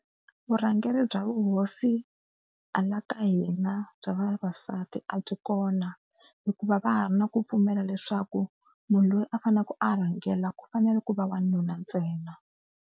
Vurhangeri bya vuhosi hala ta hina bya vavasati a byi kona hikuva va ha ri na ku pfumela leswaku munhu loyi a faneleke a rhangela ku fanele ku va wanuna ntsena.